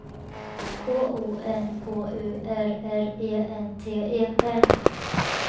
K O N K U R R E N T E R